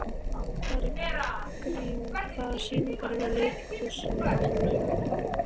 Bergrín, hvaða sýningar eru í leikhúsinu á laugardaginn?